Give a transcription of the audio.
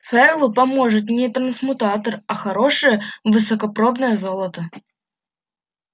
ферлу поможет не трансмутатор а хорошее высокопробное золото